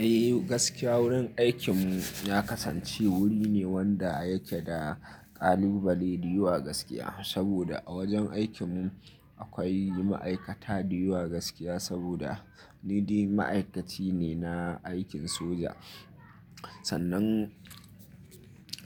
Eh, gaskia wurin aikin mu ya kasance wuri ne wanda yake da ƙalubale da yawa gaskia, saboda a wajen aikin mu akwai ma'aikata da yawa gaskia saboda ni dai ma'aikaci ne na aikin soja. Sannan